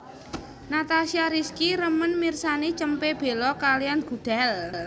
Natasha Rizky remen mirsani cempe belo kaliyan gudel